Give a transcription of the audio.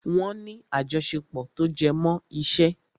Wọ́n ní àjọṣepọ̀ tó jẹmọ́ iṣẹ́.